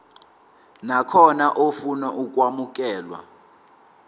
nakhona ofuna ukwamukelwa